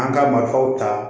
An ka marifaw ta